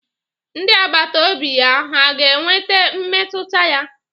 Ndị agbata obi ya hà ga-enweta mmetụta ya?